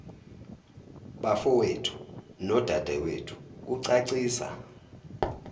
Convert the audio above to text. bafowethu nodadewethu kucacisa